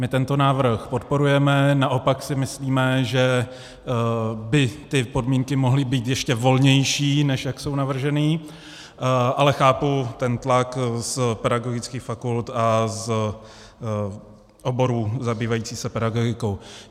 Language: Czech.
My tento návrh podporujeme, naopak si myslíme, že by ty podmínky mohly být ještě volnější, než jak jsou navrženy, ale chápu ten tlak z pedagogických fakult a z oborů zabývajících se pedagogikou.